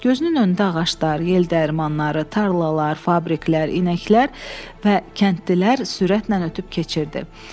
Gözünün öndə ağaclar, yel dəyirmanları, tarlalar, fabriklər, inəklər və kəndlilər sürətlə ötüb keçirdi.